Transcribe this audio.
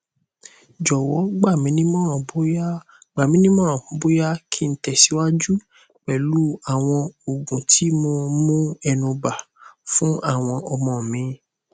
jowo gbaminimoran boya gbaminimoran boya ki n tesiwaju pelu awon oogun ti mo mu enuba funawon omo mi